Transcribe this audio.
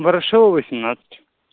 ворошилова семнадцать